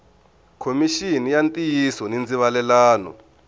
khomixini ya ntiyiso ni ndzivalelano